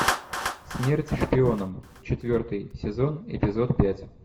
смерть шпионам четвертый сезон эпизод пять